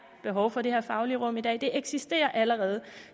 behov for det her faglige rum i dag det eksisterer allerede